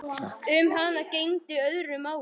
Um hana gegndi öðru máli.